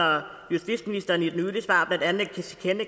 justitsministeren i